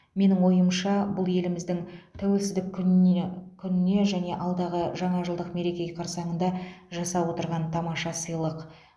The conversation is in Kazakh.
менің ойымша бұл еліміздің тәуелсіздік күніне күніне және алдағы жаңа жылдық мереке қарсаңында жасап отырған тамаша сыйлық